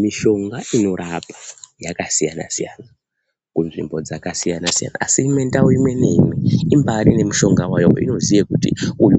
Mishonga inorapa yakasiyana-siyana kunzvimbo dzakasiyana siyana. Ndau imwe naimwe, imbarine mishonga wayo weinoziya kuti